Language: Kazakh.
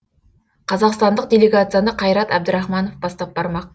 қазақстандық делегацияны қайрат әбдірахманов бастап бармақ